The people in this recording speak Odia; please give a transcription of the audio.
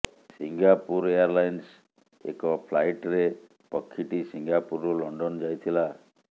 ସିଙ୍ଗାପୁର ଏୟାର୍ଲାଇନ୍ସ୍ର ଏକ ଫ୍ଲାଇଟ୍ରେ ପକ୍ଷୀଟି ସିଙ୍ଗାପୁରରୁ ଲଣ୍ଡନ୍ ଯାଇଥିଲା